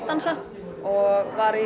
dansa og var í